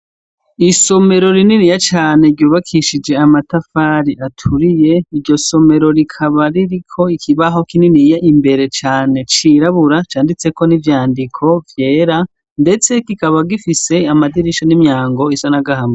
Isomero rininiya cane ryubakishije amatafari aturiye, iryo somero rikaba ririko ikibaho kininiya imbere cane c'irabura canditseko n'ivyandiko vyera, ndetse kikaba gifise amadirisha n'imyango bisa n'agahama.